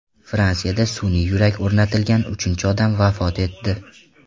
Fransiyada sun’iy yurak o‘rnatilgan uchinchi odam vafot etdi.